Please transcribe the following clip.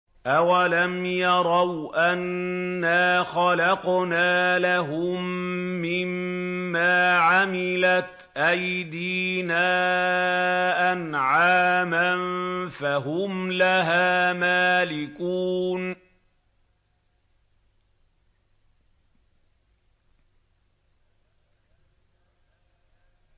أَوَلَمْ يَرَوْا أَنَّا خَلَقْنَا لَهُم مِّمَّا عَمِلَتْ أَيْدِينَا أَنْعَامًا فَهُمْ لَهَا مَالِكُونَ